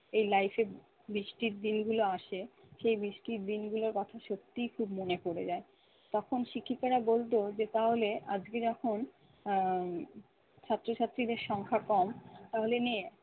এই life এ বৃষ্টির দিনগুলো আসে, সেই বৃষ্টির দিনগুলোর কথা সত্যিই খুব মনে পড়ে যায়। তখন সে কি করা বলতো যে তাহলে আজকে যখন আহ ছাত্র-ছাত্রীদের সংখ্যা কম তাহলে নে-